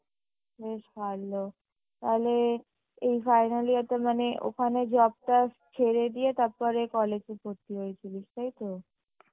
বেশ ভালো তাহলে এই final year টা মানে ওখানে job টা ছেড়ে দিয়ে তারপরে college এ ভর্তি হয়েছিলিস তাইতো?